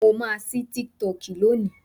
mo ma sí TikTok loni